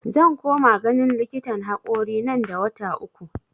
Zan koma ganin likitan hakorina nan da wata uku